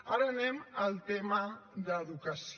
ara anem al tema d’educació